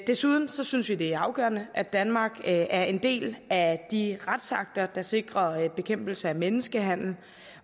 desuden synes vi det er afgørende at danmark er en del af de retsakter der sikrer bekæmpelse af menneskehandel